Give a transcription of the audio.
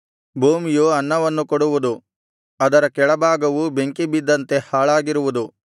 ಭೂಮಿಯು ಅನ್ನವನ್ನು ಕೊಡುವುದು ಅದರ ಕೆಳಭಾಗವು ಬೆಂಕಿ ಬಿದ್ದಂತೆ ಹಾಳಾಗಿರುವುದು